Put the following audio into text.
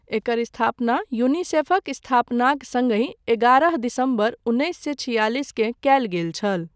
एकर स्थापना, यूनिसेफक स्थापनाक सङ्गहि, एगारह दिसम्बर, उन्नैस सए छियालिसकेँ कयल गेल छल।